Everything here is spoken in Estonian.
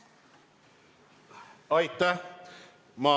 Aitäh!